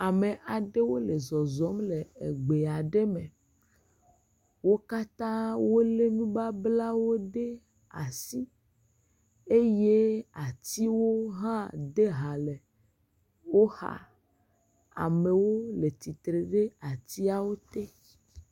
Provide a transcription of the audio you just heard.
Ame aɖewo le zɔzɔm le agbalẽ ɖe me. Wo katã wòle nubablawo ɖe asi eye atiwo hã de ha le wò xa. Amewo le tsitre ɖe atsiawo te.